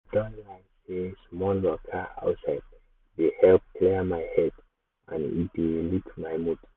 um i don learn sey small um waka outside dey help clear my head and e dey um lift my mood.